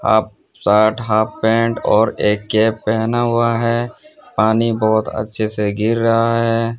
आप shirt half pant और एक कैप पहना हुआ है पानी बहुत अच्छे से गिर रहा है।